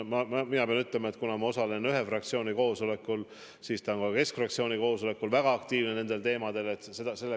Mina osalen ühe fraktsiooni koosolekutel ja pean ütlema, et ta on ka Keskerakonna fraktsiooni koosolekutel väga aktiivne nende teemade aruteludel olnud.